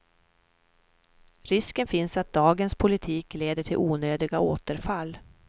Risken finns att dagens politik leder till onödiga återfall.